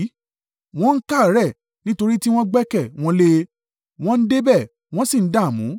Wọ́n káàárẹ̀, nítorí tí wọ́n gbẹ́kẹ̀ wọn lé e; wọ́n dé bẹ̀, wọ́n sì dààmú.